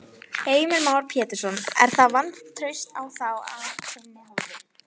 Heimir Már Pétursson: Er það vantraust á þá af þinni hálfu?